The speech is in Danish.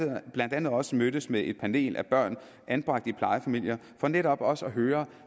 andet også mødtes med et panel af børn anbragt i plejefamilier for netop også at høre